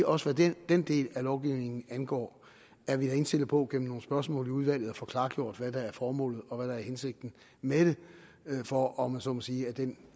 også hvad den den del af lovgivningen angår er vi indstillet på gennem nogle spørgsmål i udvalget at få klargjort hvad der er formålet og hvad der er hensigten med det for om man så må sige ad den